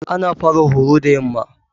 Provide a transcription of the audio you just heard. Ana fara horo da yamma.